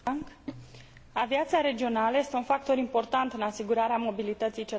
Aviația regională este un factor important în asigurarea mobilității cetățenilor.